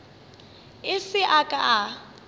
a se a ka a